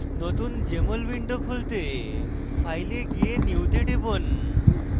নতুন jmol window খুলতে file a গিয়ে new তে টিপুন